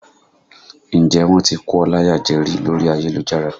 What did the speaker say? Ǹjẹ́ wọ́n ti kó ọ láyà jẹ rí lórí ayélujára?